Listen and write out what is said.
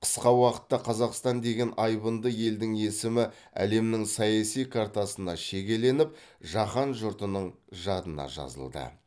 қысқа уақытта қазақстан деген айбынды елдің есімі әлемнің саяси картасына шегеленіп жаһан жұртының жадына жазылды